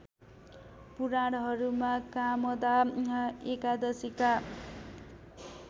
पुराणहरूमा कामदा एकादशीका